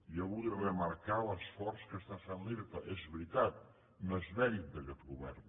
jo vull remarcar l’esforç que està fent l’irta és veritat no és mèrit d’aquest govern